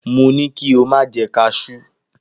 Mo ni ki o ma je kajú!